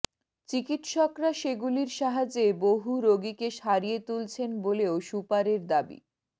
চিকিৎসকরা সেগুলির সাহায্যে বহু রোগীকে সারিয়ে তুলছেন বলেও সুপারের দাবি